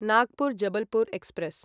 Nagpur Jabalpur express